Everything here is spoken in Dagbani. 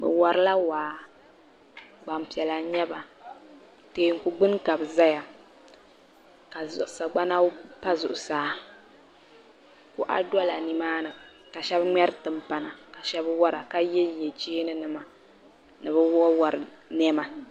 Bɛ warila waa gbampiɛla n-nyɛ ba teeku gbuni ka bɛ zaya ka sagbana pa zuɣusaa kɔɣa dola nimaani ka shɛba ŋmɛri timpana ka shɛba wara ka yenye cheenima ni wawar'nɛma.